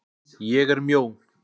ÉG ER MJÓ.